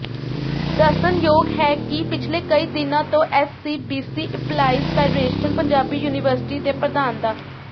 ਦੱਸਣਯੋਗ ਹੈ ਕਿ ਪਿਛਲੇ ਕਈ ਦਿਨਾਂ ਤੋਂ SCBC employees federation Punjabi university ਦੇ ਪ੍ਰਧਾਨ ਡਾ